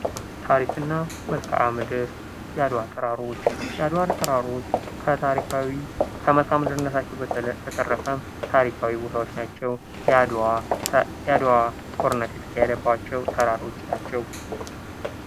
ታሪክ እና መልክዓ ምድር የአድዋ ተራሮች የአድዋ ተራሮች ከታሪካዊ ከመልክዐ ምድርነታቸው በተረፈ ታሪካዊ ቦታዎች ናቸው ።የአድዋ ጦርነት የተካሄደባቸው ተራሮች ናቸው።